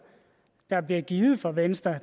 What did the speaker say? der bliver givet af venstre